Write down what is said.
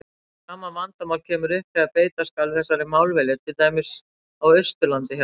Sama vandamál kemur upp þegar beita skal þessari málvenju til dæmis á Austurlandi hjá okkur.